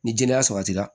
Ni jɛnɛya sabatira